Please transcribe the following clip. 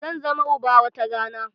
Zan zama uba wata rana